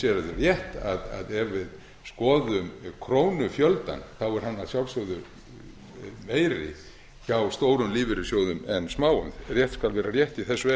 það rétt að ef við skoðum krónufjöldann þá er hann að sjálfsögðu meiri hjá stórum lífeyrissjóðum en smáum rétt skal vera rétt í þessu